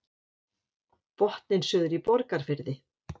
Botninn suður í Borgarfirði